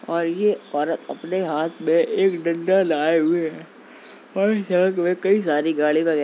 और ये औरत अपने हाथ में एक डंडा लाए हुए है और इस सड़क में कई सारी गाड़ियाँ व --